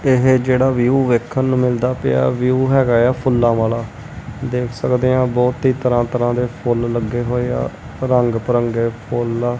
ਇਹ ਜਿਹੜਾ ਵਿਊ ਵੇਖਣ ਨੂੰ ਮਿਲਦਾ ਪਿਆ ਵਿਊ ਹੈਗਾ ਆ ਫੁੱਲਾਂ ਵਾਲਾ ਦੇਖ ਸਕਦੇ ਆ ਬਹੁਤ ਹੀ ਤਰ੍ਹਾਂ ਤਰ੍ਹਾਂ ਦੇ ਫੁੱਲ ਲੱਗੇ ਹੋਏ ਆ ਰੰਗ ਬਰੰਗੇ ਫੁੱਲ ਆ।